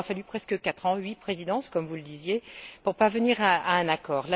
il aura fallu presque quatre ans, huit présidences, comme vous le disiez, pour parvenir à un accord.